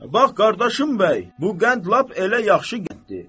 Bax qardaşım bəy, bu qənd lap elə yaxşı qənddi.